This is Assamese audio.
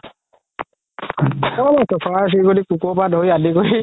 farm এইটো চৰাই চিৰিকতি কুকুৰ পৰা ধৰি আদি কৰি